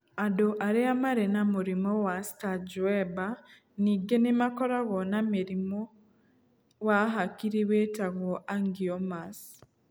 Andũ arĩa marĩ na mũrimũ wa Sturge Weber ningĩ nĩ makoragwo na mĩrimũ wa hakiri wĩtagwo angiomas.